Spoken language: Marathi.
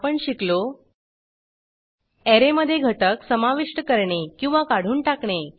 आपण शिकलो ऍरे मधे घटक समाविष्ट करणे किंवा काढून टाकणे